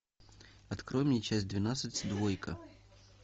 открой мне часть двенадцать двойка